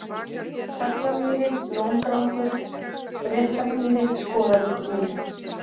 Taglamýri, Lóndrangur, Réttarmýri, Skoravíkurmúli